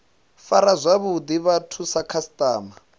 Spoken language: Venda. fara zwavhuḓi vhathu sa khasiṱama